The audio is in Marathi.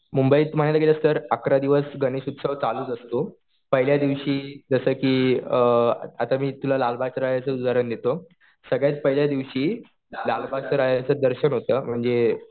मुंबईत म्हणायला गेलं तर अकरा दिवस गणेश उत्सव चालूच असतो. पहिल्या दिवशी जसं कि आता मी तुला लालबागच्या राजाचं उदाहरण देतो. सगळ्यात पहिल्या दिवशी लालबागच्या राजाचं दर्शन होतं. म्हणजे